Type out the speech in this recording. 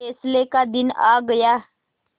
फैसले का दिन आ गया